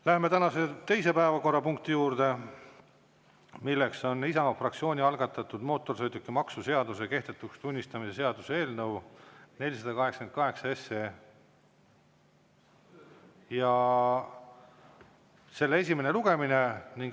Läheme tänase teise päevakorrapunkti juurde, milleks on Isamaa fraktsiooni algatatud mootorsõidukimaksu seaduse kehtetuks tunnistamise seaduse eelnõu 488 esimene lugemine.